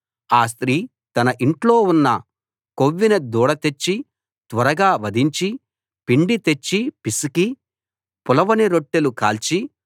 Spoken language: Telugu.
ఆ స్త్రీ తన ఇంట్లో ఉన్న కొవ్విన దూడ తెచ్చి త్వరగా వధించి పిండి తెచ్చి పిసికి పులవని రొట్టెలు కాల్చి